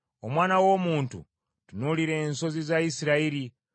“Omwana w’omuntu tunuulira ensozi za Isirayiri,